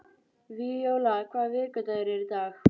Víóla, hvaða vikudagur er í dag?